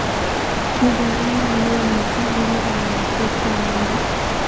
koborunet neo missing eng lubaniat ko ngwonindo